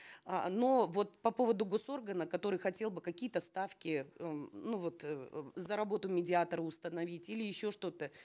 э но вот по поводу госоргана который хотел бы какие то ставки э м ну вот э за работу медиатора установить или еще что то